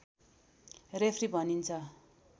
referee भनिन्छ